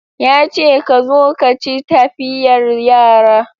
Ya ce ka zo ka ci tafiyar yara